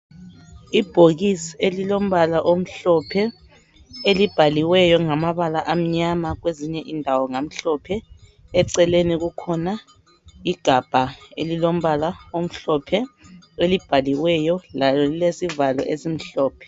Ibhokisi elilombala omhlophe elibhaliweyo ngamabala amnyama kwezinye indawo ngamhlophe, eceleni kulegabha elilombala omhlophe elibhaliweyo. Lalo lilesivalo esimhlophe.